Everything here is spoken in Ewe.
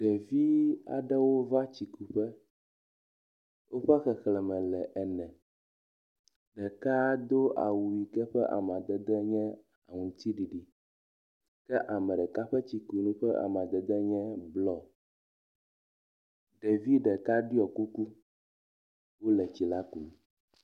Ɖevi aɖewo va tsikuƒe. Woƒe xexleme le ene. Ɖeka do awu yike ƒe amadede nye aŋutsiɖiɖi kea me ɖeka ƒe tsikunu ƒe amadede nye blɔ.